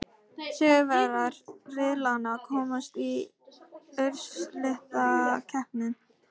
Sigurvegarar riðlanna komast í úrslitakeppni.